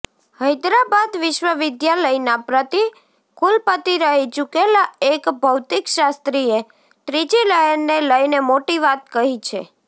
હૈદરાબાદ વિશ્વવિધાલયના પ્રતિ કુલપતિ રહી ચૂકેલા એક ભૌતિકશાસ્ત્રીએ ત્રીજી લહેરને લઈને મોટી વાત કહી છે